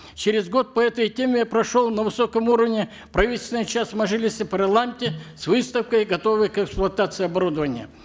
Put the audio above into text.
через год по этой теме прошел на высоком уровне правительственный час в мажилисе парламента с выставкой готового к эксплуатации оборудования